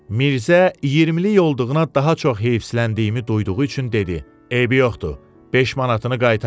Mirzə iyirmilik olduğuna daha çox heyslənliyimi duyduğu üçün dedi: eybi yoxdur, beş manatını qaytarar.